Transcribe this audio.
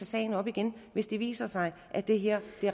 sagen op igen hvis det viser sig at det her